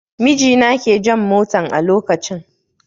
Mijina ke jan motan a lokacin